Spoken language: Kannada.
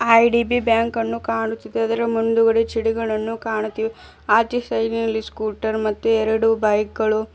ಐ_ಡಿ_ಬಿ ಬ್ಯಾಂಕ್ ಅನ್ನು ಕಾಣುತಿದೆ ಅದರ ಮುಂದುಗದೆ ಚಿಡಿಗಲನ್ನು ಕಾಣುತಿವೆ ಆಚೆ ಸೈಡಿನಲ್ಲಿ ಸ್ಕುಟರ್ ಮತ್ತೆ ಎರಡು ಬೈಕ್ ಗಳು--